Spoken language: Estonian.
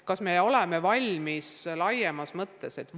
Kas me oleme selliseks muudatuseks valmis laiemas mõttes?